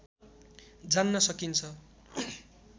जान्न सकिन्छ